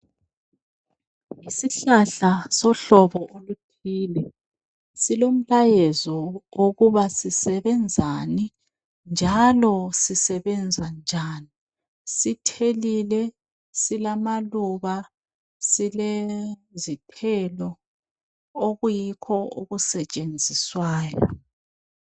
Isihlahla sohlobo oluthile silomlayezo okuba sisebenzani njalo sisebenza njani sithelile silamaluba silezithelo okuyikho okusetshenzisayo.